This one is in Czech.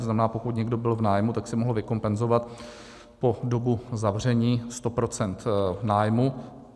To znamená, pokud někdo byl v nájmu, tak si mohl vykompenzovat po dobu zavření 100 % nájmu.